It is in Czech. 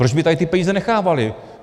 Proč by tady ty peníze nechávaly?